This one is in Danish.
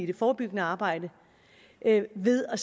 det forebyggende arbejde ved at